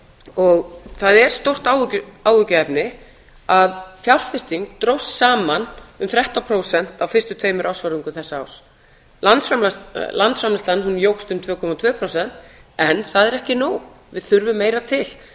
og það er stórt áhyggjuefni að fjárfesting dróst saman um þrettán prósent á fyrstu tveimur ársfjórðungum þessa árs landsframleiðslan jókst um tvö komma tvö prósent en það er ekki nóg við þurfum meira til